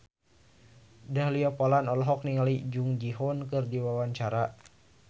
Dahlia Poland olohok ningali Jung Ji Hoon keur diwawancara